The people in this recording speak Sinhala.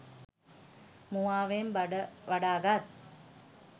මුවාවෙන් බඩ වඩාගත්